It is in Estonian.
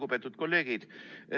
Lugupeetud kolleegid!